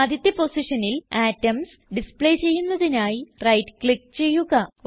ആദ്യത്തെ പൊസിഷനിൽ atoms display ചെയ്യുന്നതിനായി റൈറ്റ് ക്ലിക്ക് ചെയ്യുക